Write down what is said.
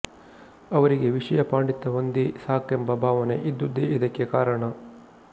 ಅವರಿಗೆ ವಿಷಯ ಪಾಂಡಿತ್ಯವೊಂದೇ ಸಾಕೆಂಬ ಭಾವನೆ ಇದ್ದುದೇ ಇದಕ್ಕೆ ಕಾರಣ